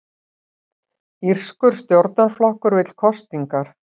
Írskur stjórnarflokkur vill kosningar